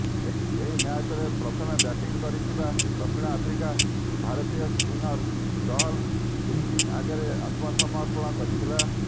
ଏହି ମ୍ୟାଚ୍ରେ ପ୍ରଥମେ ବ୍ୟାଟିଂ କରିଥିବା ଦକ୍ଷିଣ ଆଫ୍ରିକା ଭାରତୀୟ ସ୍ପିନର ଚହଲଙ୍କ ଫିରକୀ ଆଗରେ ଆତ୍ମସମର୍ପଣ କରିଥିଲା